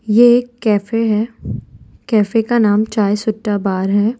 ये एक कैफे है कैफे का नाम चाय शुट्टा बार है।